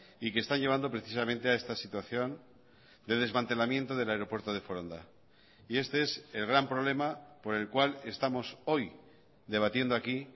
y que está llevando precisamente a esta situación de desmantelamiento del aeropuerto de foronda y este es el gran problema por el cual estamos hoy debatiendo aquí